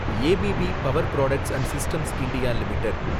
A B B power products and systems India limited